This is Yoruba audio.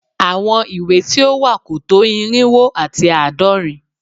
àwọn ìwé tí ó wà kò tó irínwó àti àádọ́rin